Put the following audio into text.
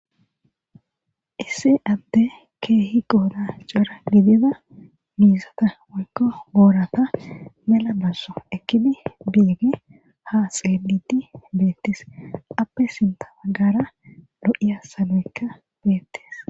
Issi adde kehi qodan cora gidida mizatha woyiko borata mella bazo ekidi bishe ha xelidi betes appe sintha bagara lo,ya saloyi betes